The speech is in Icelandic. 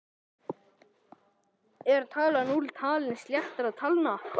Er talan núll talin til sléttra talna?